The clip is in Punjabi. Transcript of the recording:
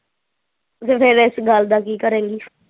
ਤੇ ਫਿਰ ਵਿੱਚ ਗੱਲ ਦਾ ਕੀ ਕਰੇਗੀ